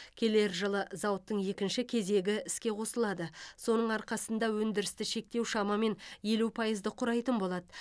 келер жылы зауыттың екінші кезегі іске қосылады соның арқасында өндірісті шектеу шамамен елу пайызды құрайтын болады